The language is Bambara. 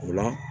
O la